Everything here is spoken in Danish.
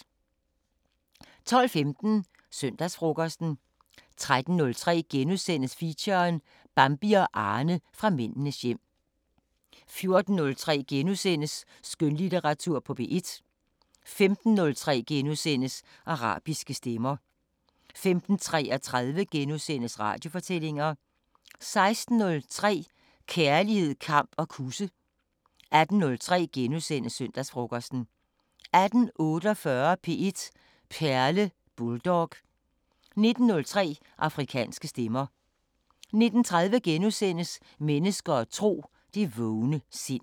12:15: Søndagsfrokosten 13:03: Feature: Bambi og Arne fra Mændenes hjem * 14:03: Skønlitteratur på P1 * 15:03: Arabiske Stemmer * 15:33: Radiofortællinger * 16:03: Kærlighed, kamp og kusse 18:03: Søndagsfrokosten * 18:48: P1 Perle: Bulldog 19:03: Afrikanske Stemmer 19:30: Mennesker og tro: Det vågne sind *